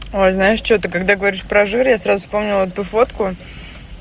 ой знаешь что ты когда говоришь про жир я сразу вспомнил ту фотку